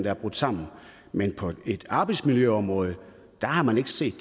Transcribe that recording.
er brudt sammen men på et arbejdsmiljøområde har man ikke set